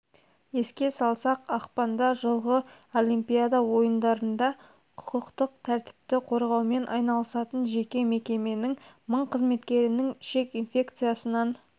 еске салсақ ақпанда жылғы олимпиада ойындарында құқықтық тәртіпті қорғаумен айналысатын жеке мекеменің мың қызметкерінің ішек инфекциясынан